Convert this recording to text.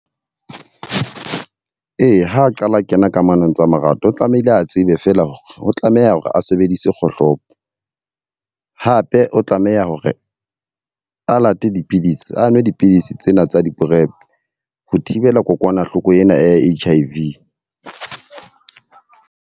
Eya ha qala kena kamanong tsa marato, o tlamehile a tsebe fela hore o tlameha hore a sebedise kgohlopo . Hape o tlameha hore a late dipidisi, a nwe dipidisi tsena tsa di-prep ho thibela kokwanahloko ena ya H_I_V.